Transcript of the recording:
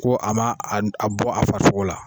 Ko a ma a bɔ a farasoko la.